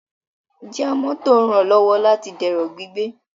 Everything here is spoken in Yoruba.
Jíà mọ́tò ranlọwọ láti dẹrọ gbígbé